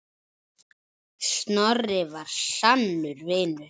Snorri var sannur vinur.